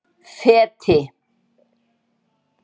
Feti